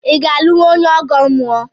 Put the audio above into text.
I ga-alụnwu onye ọgọ mmụọ?